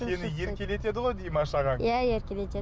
сені еркелетеді ғой димаш ағаң иә еркелетеді